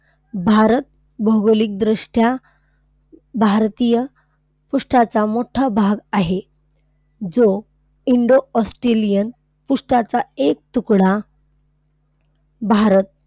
भारत भौगोलिकदृष्ट्या भारतीय पृष्ठाचा मोठा भाग आहे जो Indo-Austrailian पृष्ठाचा एक तुकडा भारत,